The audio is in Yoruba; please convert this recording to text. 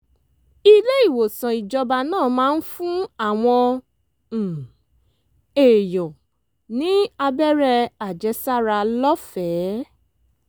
ilé-ìwòsàn ìjọba náà máa ń fún àwọn um èèyàn ní abẹ́rẹ́ àjẹsára lọ́fẹ̀ẹ́